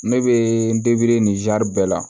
Ne bɛ nin bɛɛ la